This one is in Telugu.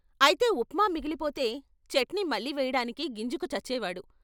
అయితే ఉప్మా మిగిలిపోతే చట్నీ మళ్ళీ వెయ్యడానికి గింజుకు చచ్చేవాడు.